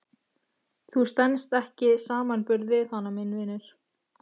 Þú stenst ekki samanburð við hana minn vinur.